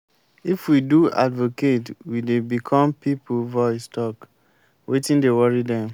if we do advocate we dey become pipo voice talk wetin dey worry dem.